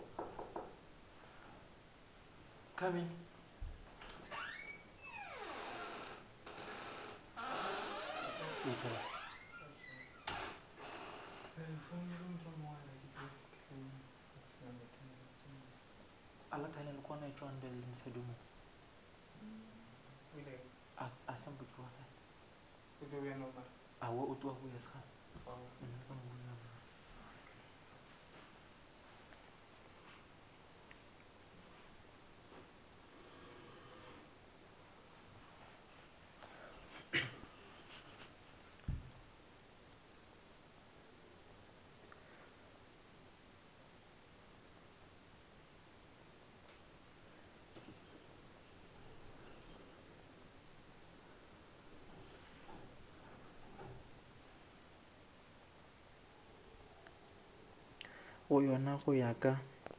go yona go ya ka